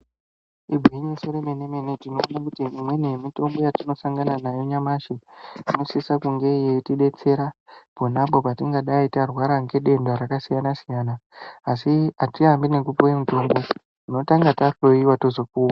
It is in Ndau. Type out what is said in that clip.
Igwinyiso re mene mene tino one kuti imweni ye mitombo yatino sangana nayo nyamashi inosisa kunge yeiti detsera ponapo patingadai tarwara nge denda raka siyana siyana asi atiyambi nekupuwe mutombo tino tanga ta hloyiwa tozo puwa.